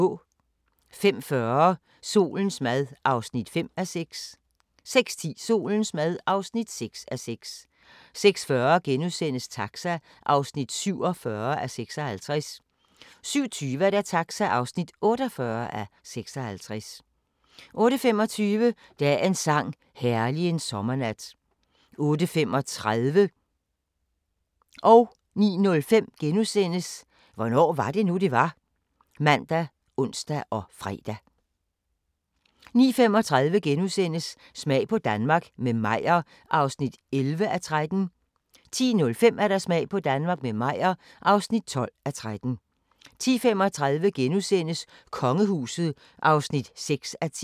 05:40: Solens mad (5:6) 06:10: Solens mad (6:6) 06:40: Taxa (47:56)* 07:20: Taxa (48:56) 08:25: Dagens sang: Herlig en sommernat 08:35: Hvornår var det nu, det var? *( man, ons, fre) 09:05: Hvornår var det nu, det var? *( man, ons, fre) 09:35: Smag på Danmark – med Meyer (11:13)* 10:05: Smag på Danmark – med Meyer (12:13) 10:35: Kongehuset (6:10)*